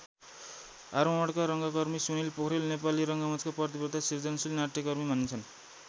आरोहणका रङ्गकर्मी सुनिल पोखरेल नेपाली रङ्गमञ्चका प्रतिवद्ध सिर्जनशील नाट्यकर्मी मानिन्छन्।